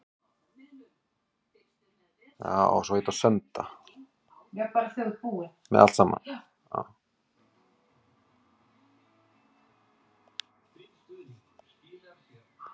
Við lágum uppi í rúmi og töluðum saman í hálfum hljóðum.